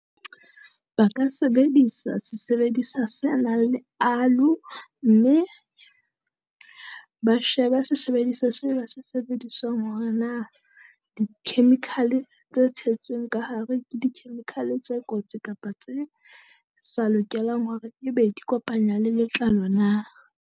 Ba ka sebedisa sesebedisa se nang aloe mme ba sheba seseebedisa se ba se sebedisang hore na a di-chemical tse tshetsweng ka hare ke di-chemical tse kotsi kapa tse sa lokelang hore e be di kopanywa le letlalo na.